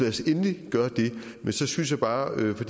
os endelig gøre det men så synes jeg bare for